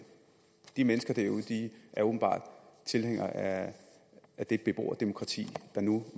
de mennesker derude er åbenbart tilhængere af det beboerdemokrati der nu